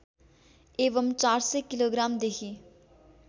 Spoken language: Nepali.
एवम् ४०० किलोग्रामदेखि